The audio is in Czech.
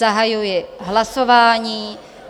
Zahajuji hlasování.